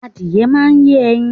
Adìẹ máa ń yé ẹyin.